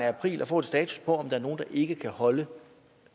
af april at få en status på om der er nogle der ikke kan holde